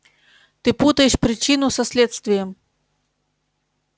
ты путаешь причину со следствием